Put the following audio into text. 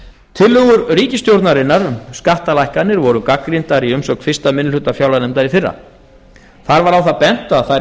tillögur ríkisstjórnarinnar um skattalækkanir voru gagnrýndar í umsögn fyrsti minni hluta fjárlaganefndar í fyrra þar var á það bent að þær